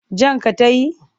Jan ka ta yi?